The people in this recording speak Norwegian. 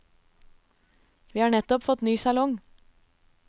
Vi har nettopp fått ny salong.